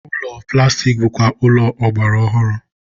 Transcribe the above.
ụlọ plastik bụkwa ụlọ ọgbara ọhụrụ.